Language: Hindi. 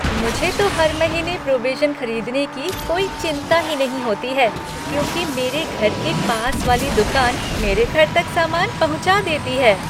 मुझे तो हर महीने प्रोविजिन खरीदने की कोई चिंता ही नहीं होती है, क्योंकि मेरे घर के पास वाली दुकान मेरे घर तक सामान पहुँचा देती है।